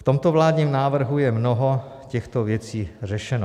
V tomto vládním návrhu je mnoho těchto věcí řešeno.